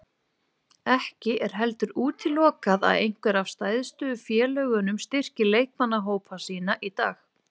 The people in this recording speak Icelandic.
Ekki er heldur útilokað að einhver af stærstu félögunum styrki leikmannahópa sína í dag.